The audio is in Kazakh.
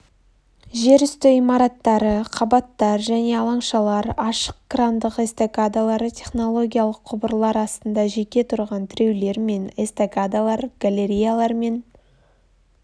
жер үсті имараттары қабаттар және алаңшалар ашық крандық эстакадалар технологиялық құбырлар астында жеке тұрған тіреулер мен эстакадалар галереялар мен